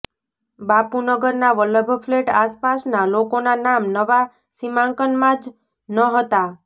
બાપુનગરના Vallabh flat આસપાસના લોકોના નામ નવા સીમાંકનમાં જ ન હતા